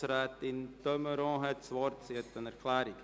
Grossrätin de Meuron hat das Wort für eine Erklärung.